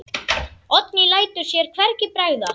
Oddný lætur sér hvergi bregða.